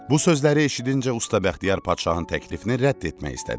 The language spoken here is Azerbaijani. Bu sözləri eşidincə usta Bəxtiyar padşahın təklifini rədd etmək istədi.